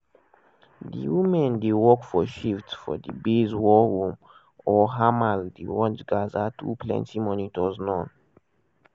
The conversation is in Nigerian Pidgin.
di women dey work for shifts for di base war room or hamal dey watch gaza through plenti monitors non-stop.